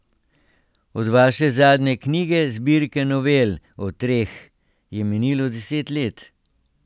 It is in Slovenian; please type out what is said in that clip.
Od vaše zadnje knjige, zbirke novel O treh, je minilo deset let.